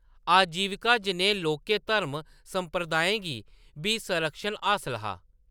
आजीविका जनेह् लौह्‌‌‌के धार्मक संप्रदायें गी बी संरक्षण हासल हा।